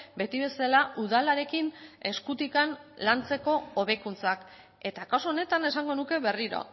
beti bezala udalarekin eskutik lantzeko hobekuntzak eta kasu honetan esango nuke berriro